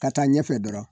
Ka taa ɲɛfɛ dɔrɔn